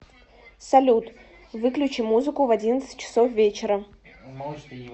салют выключи музыку в одиннадцать часов вечера